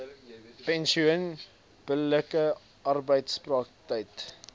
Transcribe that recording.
pensioen billike arbeidspraktyke